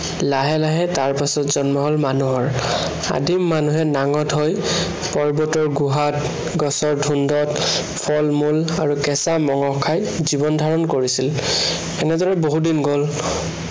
লাহে লাহে তাৰ পাছত জন্ম হল মানুহৰ। আদিম মানুহে নাঙঠ হৈ পৰ্বতৰ গুহাত, গছৰ ধোন্দত ফল-মূল আৰু কেঁচা মঙহ খাই জীৱন ধাৰণ কৰিছিল। এনেদৰে বহুদিন গল।